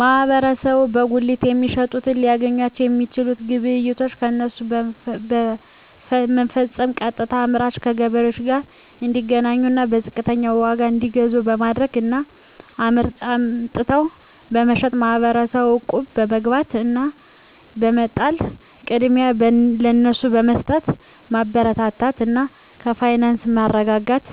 ማህበረሰቡ በጉሊት የሚሸጡትን ሊያግዛቸዉ የሚችለዉ ግብይቶችን ከነሱ በመፈፀም ቀጥታከአምራቹ ከገበሬዎቹ ጋር እንዲገናኙና በዝቅተኛ ዋጋ እንዲገዙ በማድረግ እና አምጥተዉ በመሸጥ ማህበረሰቡ እቁብ በመግባት እና በመጣል ቅድሚያ ለነሱ በመስጠትማበረታታት እና የፋይናንስ መረጋጋት